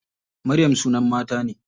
Maryam sunan mata ne.